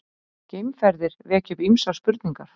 Geimferðir vekja upp ýmsar spurningar!